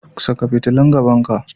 Saka fitulun gaban ka.